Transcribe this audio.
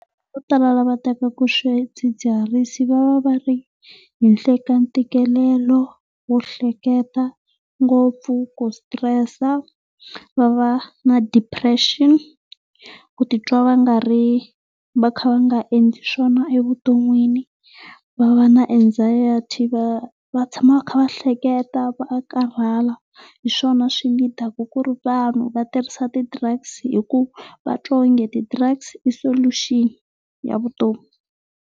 Vo tala la va tekaka swidzidziharisi va va va ri henhla ka ntikelelo wo hleketa ngopfu, ku stress, va va na depression, ku ti twa va nga ri va kha va nga endli swona evuton'wini, va va na anxiety, va va tshama va kha va hleketa, va karhala. Hi swona swi ku ri vanhu va tirhisa ti drugs hi ku va twa onge ti drugs i solution ya vutomi.